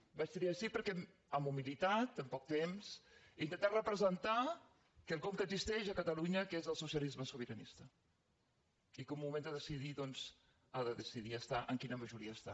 i vaig triar sí perquè amb humilitat amb poc temps he intentat representar quelcom que existeix a catalunya que és el socialisme sobiranista i que en el moment de decidir doncs ha de decidir estar en quina majoria està